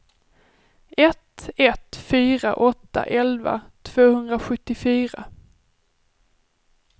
ett ett fyra åtta elva tvåhundrasjuttiofyra